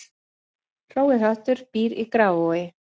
Hrói höttur býr í Grafarvogi